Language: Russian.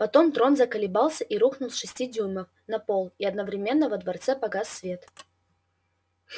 потом трон заколебался и рухнул с шести дюймов на пол и одновременно во дворце погас свет